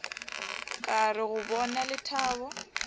ka re go bona lethabo